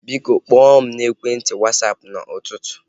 Biko, kpọọ mụ n'ekwenti Wasapụ n'ụtụtụ